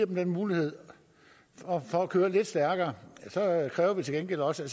den mulighed for at køre lidt stærkere kræver vi til gengæld også at